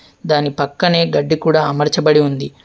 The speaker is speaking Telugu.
దాని పక్కనే గడ్డి కూడా అమర్చబడి ఉంది.